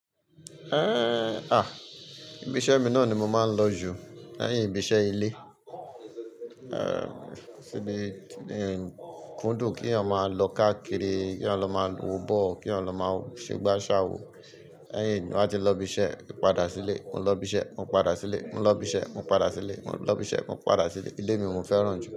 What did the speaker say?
Eh! À, ibi iṣẹ́ mi náà ni mo máa ń lọ jù lẹ́yìn ibi iṣẹ́ ilé. Eh! Mi, ku dùn kí eyan ma lọ káàkiri, kí wọ́n lọ máa wo ball, kí wọ́n lọ máa ṣe gba sa wò, lẹ́yìn náà tí ń ba ti lo ibi iṣẹ́, padà sílé, mo lọ ibi iṣẹ́, mo padà sílé, mo lọ ibi iṣẹ́, mo padà sílé, mo lọ ibi iṣẹ́, mo padà sílé. Ilé mi mo fẹ́ràn jù.